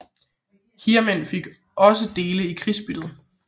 Hirdmænd fik også dele i krigsbyttet